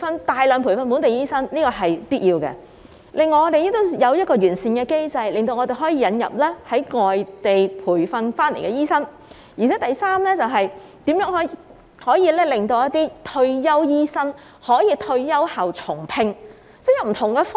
大量培訓本地醫生是必要的，另外還要有一個完善的機制，令我們可以引入外地培訓醫生；第三，是如何令一些退休醫生在退休後重新聘用。